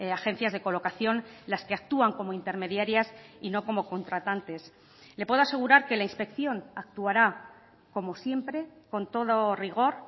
agencias de colocación las que actúan como intermediarias y no como contratantes le puedo asegurar que la inspección actuará como siempre con todo rigor